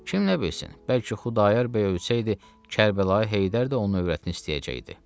Kim nə bilsin, bəlkə Xudayar bəy ölsəydi Kərbəlayı Heydər də onun övrətini istəyəcəkdi.